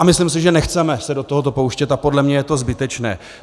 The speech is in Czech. A myslím si, že nechceme se do tohoto pouštět, a podle mě je to zbytečné.